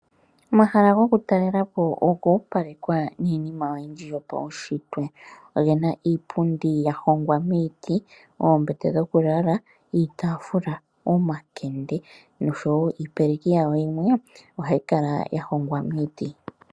Omahala gokutalalepo oga opalekwa niinima oyindji. Ogena iipundi yahongwa miiti, oombete dhokulala, iitafula, omakende, noshowo iipeleki yawo.